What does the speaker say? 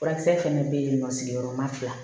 Furakisɛ fɛnɛ bɛ yen nɔ sigiyɔrɔma fila